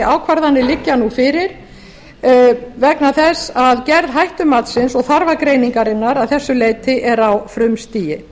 ákvarðanir liggja fyrir vegna þess að gerð hættumatsins og þarfagreiningarinnar að þessu leyti er á frumstigi